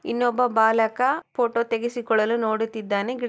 ಇನೊಬ್ಬ ಬಾಲಕ ಫೋಟೋ ತೆಗೆಸಿಕೊಳಲು ನುಡುತಿದ್ದಾನೆ